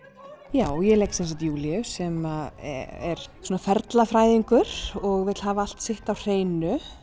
já ég leik sem sagt Júlíu sem er svona og vill hafa allt sitt á hreinu